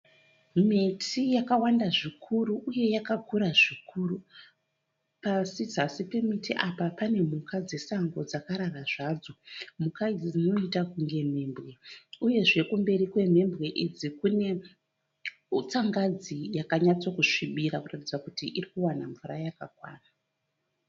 Miti yakawanda zvikuru uye yakakura zvikuru. Pasi zasi pemiti apa pane mhuka dzesango dzakarara zvadzo. Mhuka idzi dzinoita kunge mhembwe, uyezve kumberi kwemhembwe idzi kune tsangadzi yakanyatso kusvibira kuratidza kuti irikuwana mvura yakakwana.